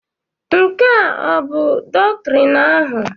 Nke ọ bụ doktrin ahụ?